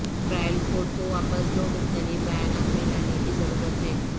trial court کو واپس دو مختلف بیانات میں لانے کی ضرورت ہے